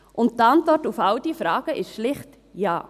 – Und die Antwort auf all diese Fragen ist schlicht Ja.